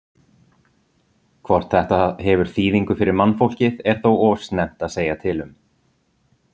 Hvort þetta hefur þýðingu fyrir mannfólkið er þó of snemmt að segja til um.